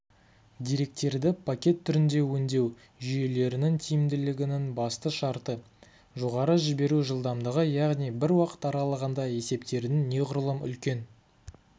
деректерді пакет түрінде өңдеу жүйелерінің тиімділігінің басты шарты жоғары жіберу жылдамдығы яғни бір уақыт аралығында есептердің неғұрлым үлкен